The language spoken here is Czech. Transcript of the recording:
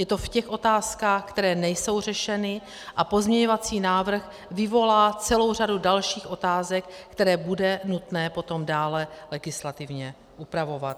Je to v těch otázkách, které nejsou řešeny, a pozměňovací návrh vyvolá celou řadu dalších otázek, které bude nutné potom dále legislativně upravovat.